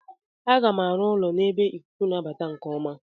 Aga m arụ ụlọ n'ebe ikuku na-abata nke ọma.